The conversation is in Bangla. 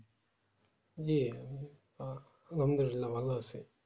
জী আহ মন্দ আছি না ভালো আছি